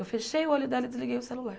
Eu fechei o olho dela e desliguei o celular.